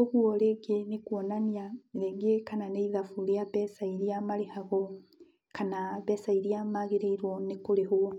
oguo rĩngĩ nĩ kuonania rĩngĩ kana nĩ ithabu rĩa mbeca iria marĩhagwo kana mbeca irĩa magĩrĩirwo kũrĩhwo.